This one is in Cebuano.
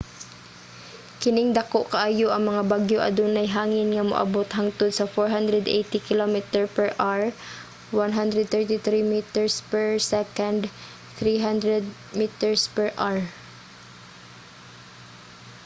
kining dako kaayo nga mga bagyo adunay hangin nga moabot hangtod sa 480 km/h 133 m/s; 300 mph